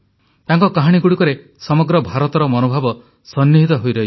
ତାଙ୍କ କାହାଣୀଗୁଡ଼ିକରେ ସମଗ୍ର ଭାରତର ମନୋଭାବ ସନ୍ନିହିତ ହୋଇ ରହିଛି